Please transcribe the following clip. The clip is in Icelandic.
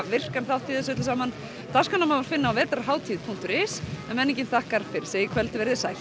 virkan þátt í þessu öllu saman dagskrána má finna á vetrarhatid punktur is en menningin þakkar fyrir sig í kvöld verið þið sæl